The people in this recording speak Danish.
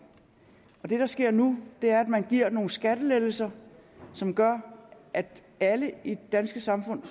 det der sker nu er at man giver nogle skattelettelser som gør at alle i det danske samfund